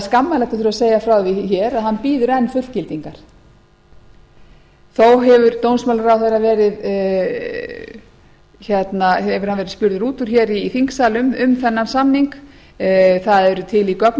skammarlegt að þurfa að segja frá því hér að hann bíður enn fullgildingar þó hefur dómsmálaráðherra verið spurður út úr hér í þingsal um þennan samning það eru til í göngum